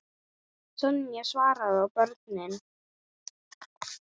Sonja, Svavar og börn.